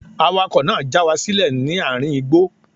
Awakọ̀ náà já wa sílẹ̀ ní àárín igbó.